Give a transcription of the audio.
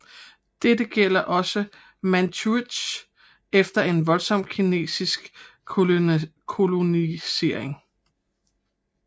Dette gælder også Manchuriet efter en voldsom kinesisk kolonisering